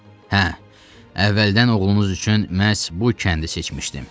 Hə, əvvəldən oğlunuz üçün məhz bu kəndi seçmişdim.